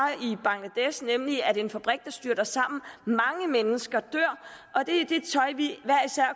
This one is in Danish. i bangladesh nemlig at en fabrik styrter sammen og mange mennesker dør